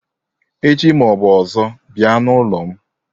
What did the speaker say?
Echi ma ọ bụ ọzọ bịa n'ụlọ m